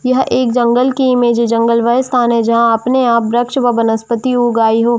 यह एक जंगल की इमेज है जंगल वह स्थान है जहाँ अपने आप वृक्ष वा वनस्पति उगाई हो।